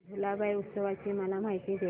भुलाबाई उत्सवाची मला माहिती दे